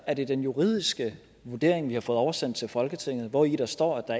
er det den juridiske vurdering vi har fået oversendt til folketinget hvori der står at der